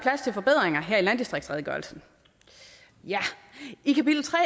jeg i landdistriktsredegørelsen i kapitel tre